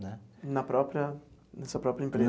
Né. Na própria nessa própria empresa?